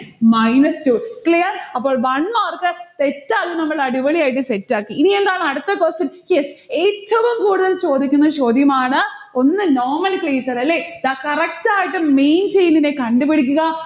minus two. clear? അപ്പോൾ one mark set ആയും നമ്മൾ അടിപൊളിയായിട്ട് set ആക്കി. ഇനിയെന്താണ് അടുത്ത question yes ഏറ്റവും കൂടുതൽ ചോദിക്കുന്ന ചോദ്യമാണ്. ഒന്ന് nomenclature അല്ലെ? ദാ correct ആയിട്ട് main chain നെ കണ്ടുപിടിക്കുക.